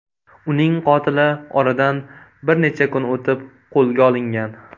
Uning qotili oradan bir necha kun o‘tib qo‘lga olingan.